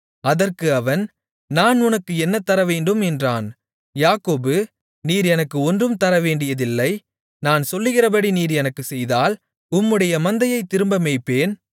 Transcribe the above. அதற்கு அவன் நான் உனக்கு என்ன தரவேண்டும் என்றான் யாக்கோபு நீர் எனக்கு ஒன்றும் தரவேண்டியதில்லை நான் சொல்லுகிறபடி நீர் எனக்குச் செய்தால் உம்முடைய மந்தையைத் திரும்ப மேய்ப்பேன்